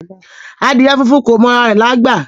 Adiẹ fúnfún kò mọ àrà rẹ̀lágbà